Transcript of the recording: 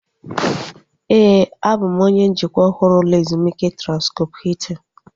Éè, a bụ m onye njikwa ọhụrụ ụlọ ezumike Transkọp Hiltin